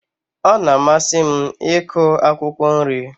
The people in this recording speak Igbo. Ọ na-amasị m iku akwụkwọ nri.